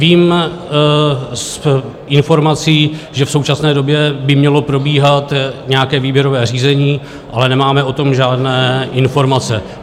Vím z informací, že v současné době by mělo probíhat nějaké výběrové řízení, ale nemáme o tom žádné informace.